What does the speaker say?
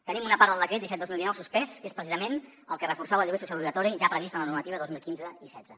tenim una part del decret disset dos mil dinou suspès que és precisament el que reforçava el lloguer social obligatori ja previst en la normativa dos mil quinze i setze